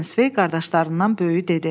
Mitensvey qardaşlarından böyüyü dedi.